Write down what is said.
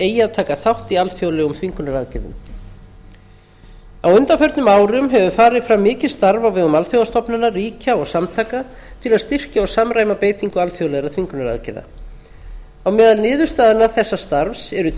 eigi að taka þátt í alþjóðlegum þvingunaraðgerðum á undanförnum árum hefur farið fram mikið starf á vegum alþjóðastofnana ríkja og samtaka til að styrkja og samræma beitingu alþjóðlegra þvingunaraðgerða á meðal niðurstaðna þessa starfs eru